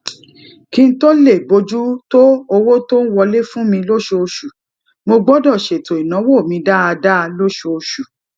kí n tó lè bójú tó owó tó ń wọlé fún mi lóṣooṣù mo gbódò ṣètò ìnáwó mi dáadáa lóṣooṣù